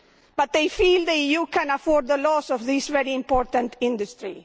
But they feel the EU can afford the loss of this very important industry.